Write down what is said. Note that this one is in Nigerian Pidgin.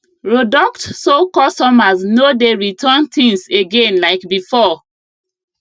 roduct so customers no dey return things again like before